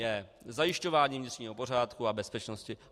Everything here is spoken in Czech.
j) - zajišťování vnitřního pořádku a bezpečnosti.